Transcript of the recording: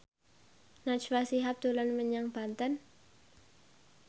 Najwa Shihab dolan menyang Banten